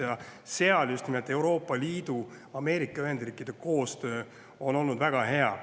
Just nimelt seal on Euroopa Liidu ja Ameerika Ühendriikide koostöö olnud väga hea.